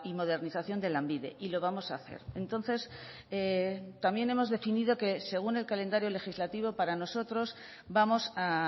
modernización de lanbide y lo vamos a hacer entonces también hemos definido que según el calendario legislativo para nosotros vamos a